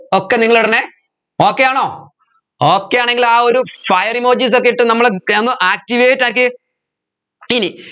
ഒക്കെ നിങ്ങൾ ഇടണെ okay ആണോ okay ആണെങ്കിൽ ആ ഒരു fire emojis ഒക്കെ ഇട്ടു നമ്മളെ activate ആക്കിയേ ഇനി